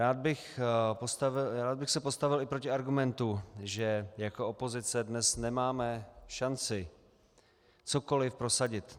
Rád bych se postavil i proti argumentu, že jako opozice dnes nemáme šanci cokoliv prosadit.